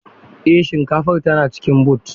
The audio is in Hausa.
Eh shinkafar tana cikin boot.